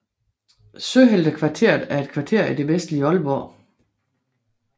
Søheltekvarteret er et kvarter i det vestlige Aalborg